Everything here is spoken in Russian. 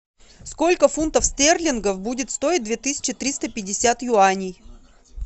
сколько фунтов стерлингов будет стоить две тысячи триста пятьдесят юаней